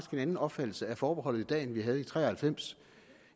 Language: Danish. en anden opfattelse af forbeholdet i dag end vi havde i nitten tre og halvfems